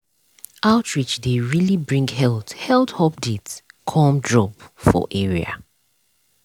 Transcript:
outreach dey really bring health health update come drop for area.